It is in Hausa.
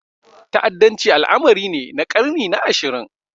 Ta'addanci al'amari ne na ƙarni na ashirin.